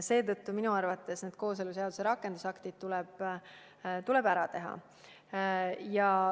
Seetõttu minu arvates kooseluseaduse rakendusaktid tuleb ära teha.